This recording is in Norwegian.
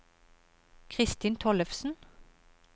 Christin Tollefsen